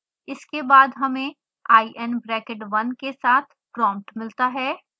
इसके बाद हमें i n bracket 1 के साथ प्रोम्पट मिलता है